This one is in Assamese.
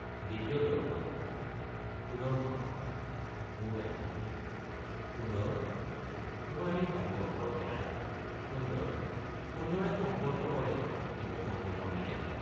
দ্বিতীয় দৰ্শন সুদৰ্শন— মূৰ দাঙি সুন্দৰ তোমাৰ এই সংকল্প এৰা সুন্দৰ—সুন্দৰে সংকল্প কৰে কিন্তু সংকল্প নেৰে।